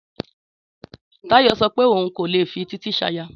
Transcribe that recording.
Táyọ̀ sọ pé òun kò lè fi Títí ṣaya